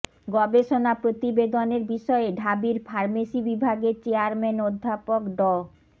গবেষণা প্রতিবেদনের বিষয়ে ঢাবির ফার্মেসি বিভাগের চেয়ারম্যান অধ্যাপক ড